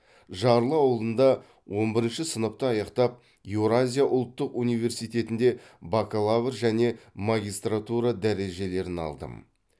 жарлы ауылында он бірінші сыныпты аяқтап еуразия ұлттық университетінде бакалавр және магистратура дәрежелерін алдым